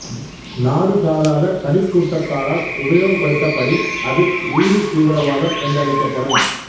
நாடு சாராத தனிக் கூட்டத்தாரால் உபயோகப்படுத்தப்படின் அது உயிரித்தீவிரவாதம் என்றழைக்கப்படும்